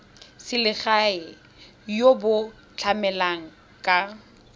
selegae jo bo tlamelang ka